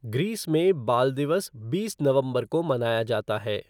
Greece में बाल दिवस बीस नवंबर को मनाया जाता है।